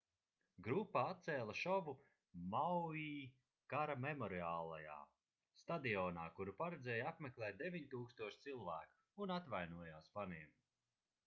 grupa atcēla šovu maui kara memoriālajā stadionā kuru paredzēja apmeklēt 9000 cilvēku un atvainojās faniem